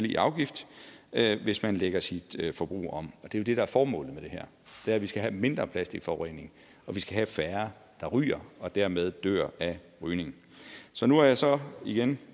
i afgift hvis man lægger sit forbrug om og de det der er formålet med det er vi skal have mindre plastikforurening og vi skal have færre der ryger og dermed dør af rygning så nu har jeg så igen